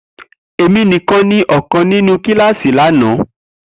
Emi nikan ni ọkan ninu kilasi lana